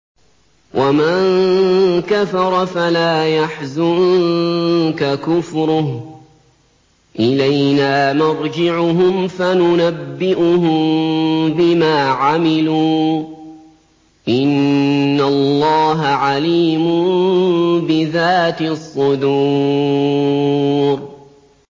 وَمَن كَفَرَ فَلَا يَحْزُنكَ كُفْرُهُ ۚ إِلَيْنَا مَرْجِعُهُمْ فَنُنَبِّئُهُم بِمَا عَمِلُوا ۚ إِنَّ اللَّهَ عَلِيمٌ بِذَاتِ الصُّدُورِ